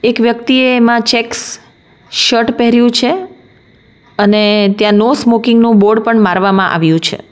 એક વ્યક્તિએ એમાં ચેક્સ શર્ટ પેહર્યુ છે અને ત્યાં નો સ્મોકિંગ નું બોર્ડ પણ મારવામાં આવ્યું છે.